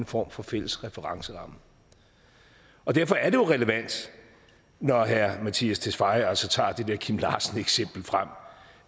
form for fælles referenceramme derfor er det jo relevant når herre mattias tesfaye altså tager det der kim larsen eksempel frem